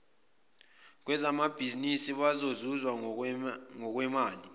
kwezebhizimisi bezozuza ngokwemali